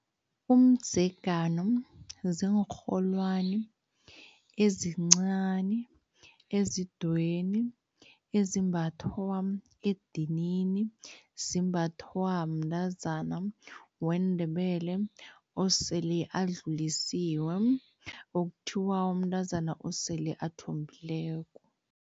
Umdzegano ziinrholwani ezincani, ezidweyini, ezimbathwa edinini, zimbathwa mntazana weNdebele osele adlulisiwe, okuthiwa umntazana osele athombileko.